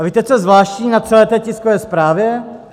A víte, co je zvláštní na celé té tiskové zprávě?